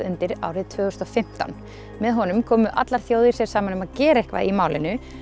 árið tvö þúsund og fimmtán með honum komu allar þjóðir sér saman um að gera eitthvað í málinu